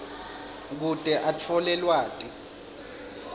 kute atfole lwati